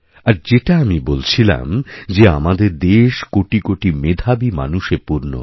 আরযেটা আমি বলছিলাম যে আমাদের দেশ কোটি কোটি মেধাবী মানুষে পূর্ণ